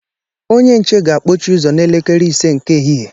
Onye nche ga-akpọchi ụzọ n'elekere ise nke ehihie.